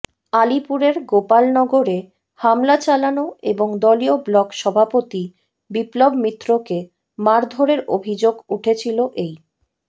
আলিপুরের গোপালনগরে হামলা চালানো এবং দলীয় ব্লক সভাপতি বিপ্লব মিত্রকে মারধরের অভিযোগ উঠেছিল এই